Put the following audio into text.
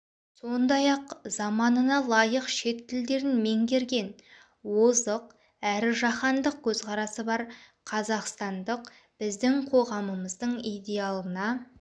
сондай-ақ заманына лайық шет тілдерін меңгерген озық әрі жаһандық көзқарасы бар қазақстандық біздің қоғамымыздың идеалына